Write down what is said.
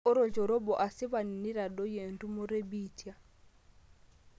ore olchore obo asipani neitadoyio entumoto e biitia